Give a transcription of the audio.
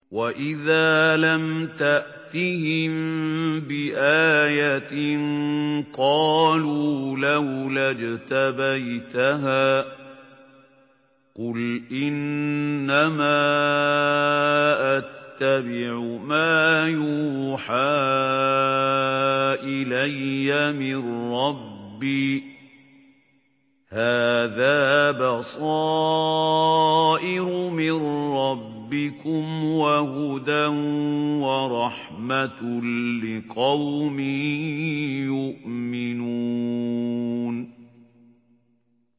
وَإِذَا لَمْ تَأْتِهِم بِآيَةٍ قَالُوا لَوْلَا اجْتَبَيْتَهَا ۚ قُلْ إِنَّمَا أَتَّبِعُ مَا يُوحَىٰ إِلَيَّ مِن رَّبِّي ۚ هَٰذَا بَصَائِرُ مِن رَّبِّكُمْ وَهُدًى وَرَحْمَةٌ لِّقَوْمٍ يُؤْمِنُونَ